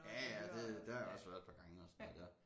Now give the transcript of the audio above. Ja ja det der har jeg også været et par gange og sådan noget der